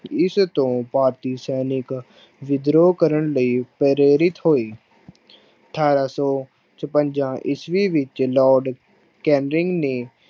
ਇਸ ਤੋਂ ਭਾਰਤੀ ਸੈਨਿਕ ਵਿਦਰੋਹ ਕਰਨ ਲਈ ਪ੍ਰੇਰਿਤ ਹੋਏ ਅਠਾਰਾਂ ਸੌ ਛਪੰਜਾ ਈਸਵੀ ਵਿੱਚ ਲਾਰਡ ਕੈਨਿੰਗ ਨੇ